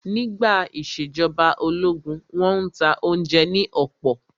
Nígbà ìṣèjọba ológun, wọ́n n ta oúnjẹ ní ọ̀pọ̀